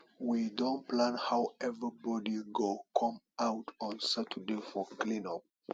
we don plan how everybody go come out on saturday for clean up